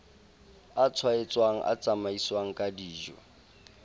a tshwaetsang a tsamaiswang kedijo